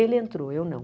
Ele entrou, eu não.